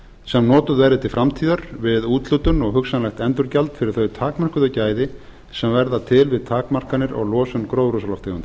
sem notuð verði til framtíðar við úthlutun og hugsanlegt endurgjald fyrir þau takmörkuðu gæði sem verða til við takmarkanir og losun gróðurhúsalofttegunda